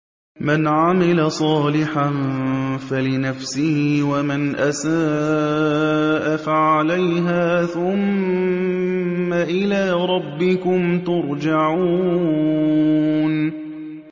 مَنْ عَمِلَ صَالِحًا فَلِنَفْسِهِ ۖ وَمَنْ أَسَاءَ فَعَلَيْهَا ۖ ثُمَّ إِلَىٰ رَبِّكُمْ تُرْجَعُونَ